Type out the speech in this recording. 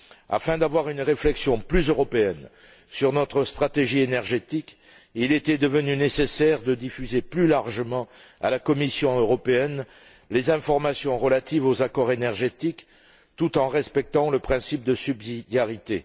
Afin d'avoir une réflexion plus européenne sur notre stratégie énergétique, il était devenu nécessaire de diffuser plus largement à la Commission européenne les informations relatives aux accords énergétiques, tout en respectant le principe de subsidiarité.